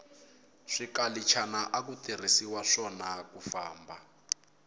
swikalichana aku tirhiswa swona kufamba